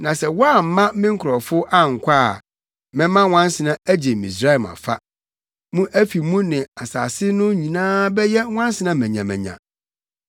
Na sɛ woamma me nkurɔfo ankɔ a, mɛma nwansena agye Misraim afa. Mo afi mu ne asase no nyinaa bɛyɛ nwansena manyamanya.